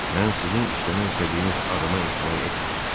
Mən sizin işləmək istədiyiniz adama etibar etmirəm.